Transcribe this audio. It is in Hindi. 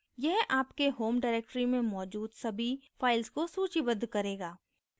यह आपके home directory में मौजूद सभी files को सूचीबद्ध करेगा